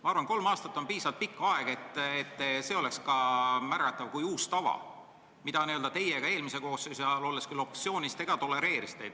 Ma arvan, et kolm aastat on piisavalt pikk aeg, et seda võiks võtta kui uut tava, mida teie ka eelmise koosseisu ajal, olles küll opositsioonis, tolereerisite.